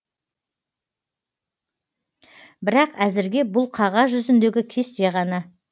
бірақ әзірге бұл қағаз жүзіндегі кесте ғана